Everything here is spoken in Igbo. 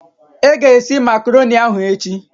Ị ga-esi Makroni ahụ echi!